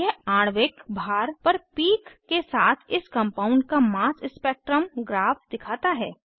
यह आणविक भार पर पीक के साथ इस कंपाउंड का मास स्पेक्ट्रम ग्राफ दिखाता है